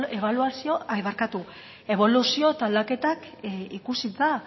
eboluzio eta aldaketak ikusita